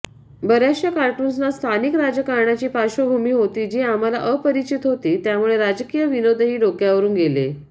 बर्याचशा कार्टून्सना स्थानिक राजकारणाची पार्श्वभूमी होती जी आम्हाला अपरिचित होती त्यामुळे राजकीय विनोदही डोक्यावरून गेले